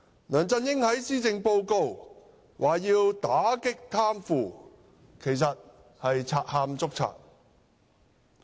梁振英在施政報告中說要打擊貪腐，其實是賊喊捉賊。